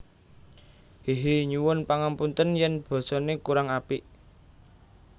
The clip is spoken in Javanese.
Hehehe Nyuwun pangapunten yen basa ne kurang apik